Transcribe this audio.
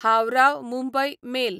Howrah Mumbai mail